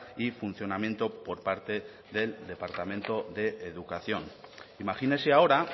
y funcionamiento por parte del departamento de educación imagínese ahora